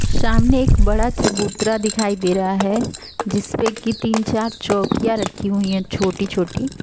सामने एक बड़ा चबूतरा दिखाई दे रहा है जिसपे कि तीन चार चौकियाँ रखी हुई है छोटी-छोटी।